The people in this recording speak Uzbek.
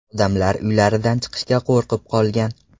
Odamlar uylaridan chiqishga qo‘rqib qolgan.